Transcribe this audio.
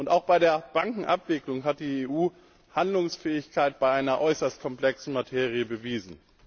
Auch bei der Bankenabwicklung hat die EU Handlungsfähigkeit bei einer äußerst komplexen Materie bewiesen.